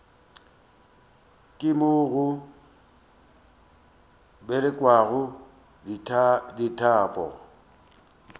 ka moo go bolokelwago ditopo